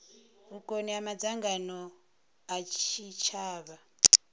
vhukoni ha madzangano a tshitshavha